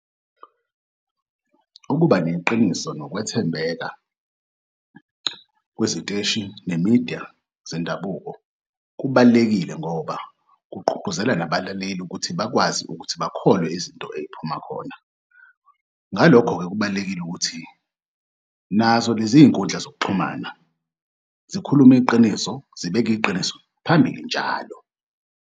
Ukuba neqiniso nokwethembeka kweziteshi nemidiya zendabuko kubalulekile ngoba kugqugquzela nabalaleli ukuthi bakwazi ukuthi bakholwe izinto ey'phuma khona. Ngalokho-ke kubalulekile ukuthi nazo lezi zinkundla zokuxhumana zikhulume iqiniso, zibeke iqiniso phambili njalo.